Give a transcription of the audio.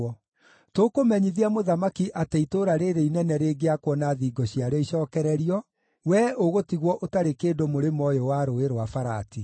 Tũkũmenyithia mũthamaki atĩ itũũra rĩĩrĩ inene rĩngĩakwo na thingo ciarĩo icookererio, wee ũgũtigwo ũtarĩ kĩndũ Mũrĩmo ũyũ wa Rũũĩ rwa Farati.